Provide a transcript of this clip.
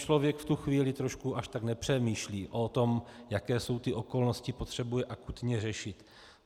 Člověk v tu chvíli trošku až tak nepřemýšlí o tom, jaké jsou ty okolnosti, potřebuje akutně řešit.